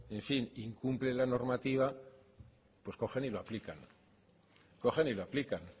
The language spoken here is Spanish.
en fin incumple la normativa pues cogen y lo aplican cogen y lo aplican